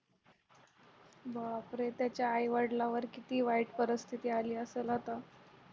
बापरे त्याच्या आई वडिलावर किती वाईट परिस्थिती आली असेल आता